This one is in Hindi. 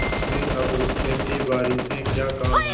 तुम्हें अब खेतीबारी से क्या काम है